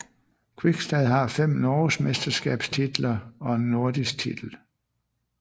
Kvikstad har fem norgesmesterskabstitler og en nordisk titel